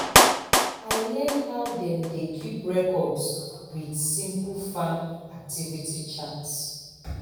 i learn how dem dey keep records with simple farm activity chart